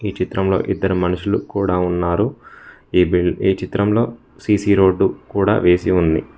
ఈ చిత్రంలో ఇద్దరు మనుషులు కూడా ఉన్నారు ఈ చిత్రంలో సీ_సీ రోడ్డు కూడా వేసి ఉంది.